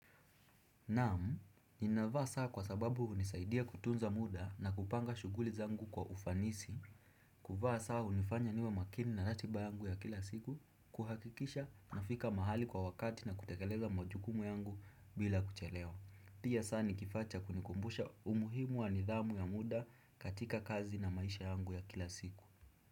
Naam, ninavaa saa kwa sababu hunisaidia kutunza muda na kupanga shuguli zangu kwa ufanisi, kuvaa saa hunifanya niwe makini na ratiba yangu ya kila siku, kuhakikisha nafika mahali kwa wakati na kutekeleza majukumu yangu bila kuchelewa. Pia saa nikifaa cha kunikumbusha umuhimu wa nidhamu ya muda katika kazi na maisha yangu ya kila siku.